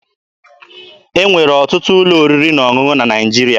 E nwere ọtụtụ ụlọ oriri na ọṅụṅụ na Naịjirịa.